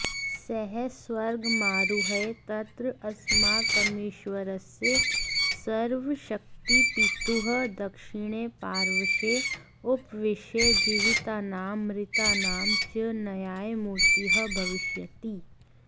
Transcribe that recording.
सः स्वर्गमारुह्य तत्र अस्माकमीश्वरस्य सर्वशक्तपितुः दक्षिणे पार्श्वे उपविश्य जीवितानां मृतानां च न्यायमूर्तिः भविष्यति